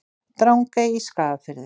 Drangey í Skagafirði.